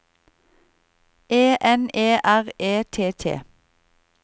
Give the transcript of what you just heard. E N E R E T T